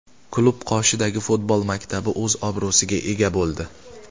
Klub qoshidagi futbol maktabi o‘z obro‘siga ega bo‘ldi.